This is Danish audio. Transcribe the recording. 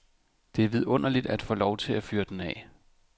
Det er vidunderligt at få lov til at fyre den af.